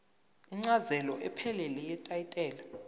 incazelo ephelele yetayitela